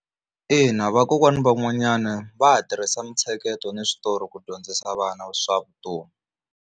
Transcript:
Ina vakokwani van'wanyana va ha tirhisa mitsheketo na switori ku dyondzisa vana swa vutomi.